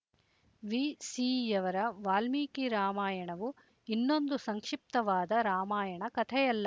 ವಿಸೀಯವರ ವಾಲ್ಮೀಕಿ ರಾಮಾಯಣವು ಇನ್ನೊಂದು ಸಂಕ್ಷಿಪ್ತವಾದ ರಾಮಾಯಣ ಕಥೆಯಲ್ಲ